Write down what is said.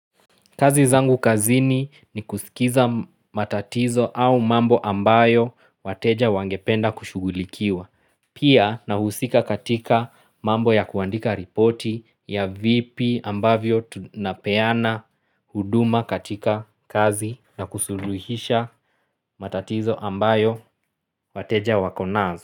Kazi zangu kazini ni kusikiza matatizo au mambo ambayo wateja wangependa kushughulikiwa. Pia nahusika katika mambo ya kuandika ripoti ya vipi ambavyo tunapeana huduma katika kazi na kusuluhisha matatizo ambayo wateja wako nazo.